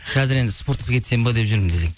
қазір енді спортқа кетсем бе деп жүрмін десең